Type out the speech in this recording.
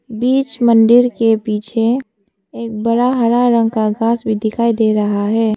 बीच मन्दिर के पीछे एक बड़ा हरा रंग का घास भी दिखाई दे रहा है।